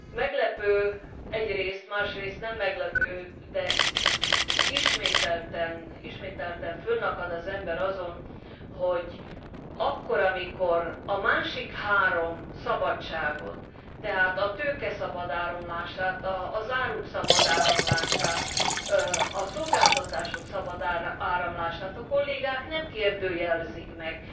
Meglepő egyrészt, másrészt nem meglepő, de ismételten fönnakad az ember azon, hogy akkor, amikor a másik három szabadságot tehát a tőke szabad áramlását, az áruk szabad áramlását, a szolgáltatások szabad áramlását a kollégák nem kérdőjelezik meg.